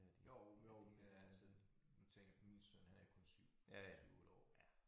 Jo jo men altså nu tænker jeg på min søn han er jo kun 7 7 8 år